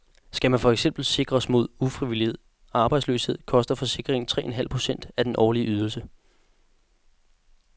Skal man for eksempel sikres mod ufrivillig arbejdsløshed, koster forsikringen tre en halv procent af den årlige ydelse.